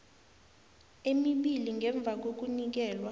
emibili ngemva kokunikelwa